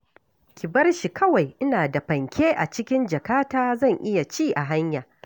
Ki bar shi kawai, ina da fanke a cikin jakata, zan iya ci a hanya